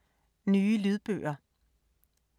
Nye lydbøger